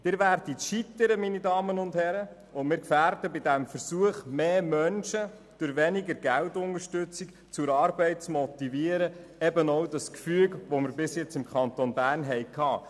Sie werden scheitern, meine Damen und Herren, und wir gefährden bei diesem Versuch, mehr Menschen durch weniger Geldunterstützung zur Arbeit zu motivieren, auch das Gefüge, welches wir bisher im Kanton Bern haben.